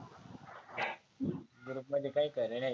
Group मध्ये काही खरं नाहीए.